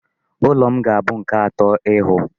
Ụlọ m ga-abụ nke atọ ịhụ.